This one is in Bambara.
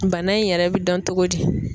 Bana in yɛrɛ bɛ dɔn togo di?